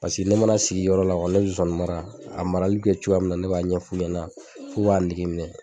Paseke ne mana sigi yɔrɔ la ne nsonsannin mara a marali bɛ kɛ cogoya min na ne b'a ɲɛf'u ɲɛna f'u k'a nege minɛ